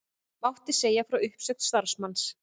Mordekaí, hvað er opið lengi í Sundhöllinni?